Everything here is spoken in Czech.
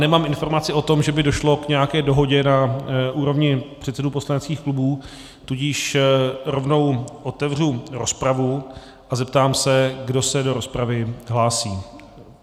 Nemám informaci o tom, že by došlo k nějaké dohodě na úrovni předsedů poslaneckých klubů, tudíž rovnou otevřu rozpravu a zeptám se, kdo se do rozpravy hlásí.